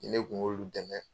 Ne kun k'olu damɛ.ɛ